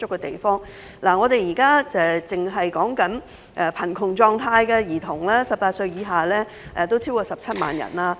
現時，單是18歲以下的貧窮兒童已有超過17萬人。